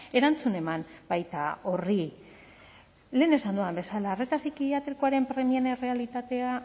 erantzun eman baita horri lehen esan dudan bezala arreta psikiatrikoaren premien errealitatea